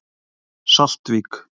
Saltvík